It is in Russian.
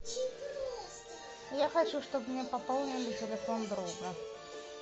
я хочу чтобы мне пополнили телефон друга